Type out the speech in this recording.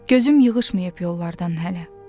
Gözüm yığışmayıb yollardan hələ.